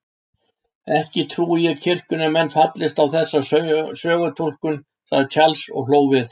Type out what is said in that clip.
Ekki trúi ég að kirkjunnar menn fallist á þessa sögutúlkun, sagði Charles og hló við.